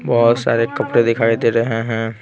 बहुत सारे कपड़े दिखाई दे रहे हैं।